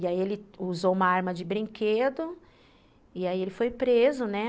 E aí ele usou uma arma de brinquedo e aí ele foi preso, né?